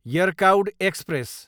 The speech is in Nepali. यरकाउड एक्सप्रेस